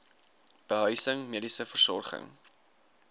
behuising mediese versorging